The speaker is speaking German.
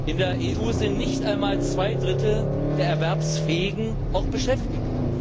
In der EU sind nicht einmal zwei Drittel der Erwerbsfähigen auch beschäftigt.